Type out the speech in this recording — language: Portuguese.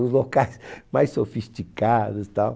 Os locais mais sofisticados tal